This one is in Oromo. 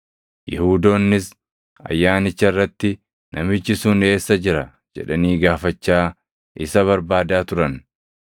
Yihuudoonnis Ayyaanicha irratti, “Namichi sun eessa jira?” jedhanii gaafachaa isa barbaadaa turan.